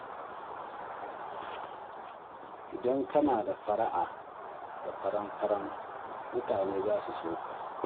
Idan kana da fara'a da faran-faran, mutane za su so ka.